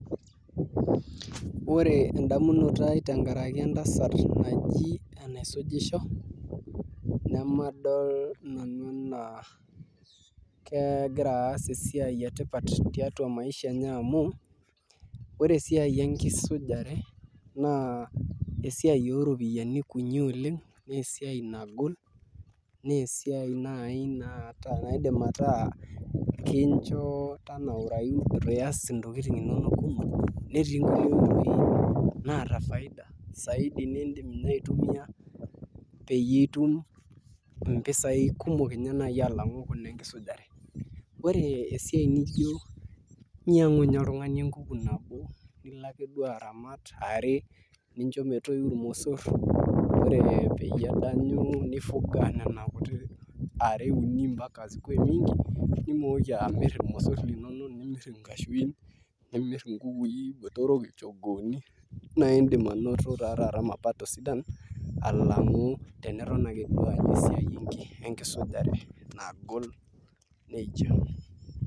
Ore edamunoto ai tenkaraki entasat naji enaisujisho, nemadol nanu enaa kegira aas esiai etipat tiatua maisha enye amu, ore esiai enkisujare, naa esiai oropiyiani kunyi oleng, nesiai nagol, nesiai nai naata naidim ataa kincho tanaurayu itu ias intokiting inonok kumok, netik nkulie oitoi naata faida saidi nidim inye aitumia peyie itum impisai kumok inye nai alang'u kuna enkisujare. Ore esia nijo nyang'u nye oltung'ani enkuku nabo, nilo ake duo aramat are, nincho metoyu irmosor, ore peyie edanyu ni fuga nena kuti are uni mpaka zikuwe mingi, nimooki amir irmosor linonok nimir inkashuin, nimir inkukui botorok ilchogooni, naa idim anoto ta taata mapato sidan, alang'u teniton ake duo alo esiai enkisujare nagol nejia.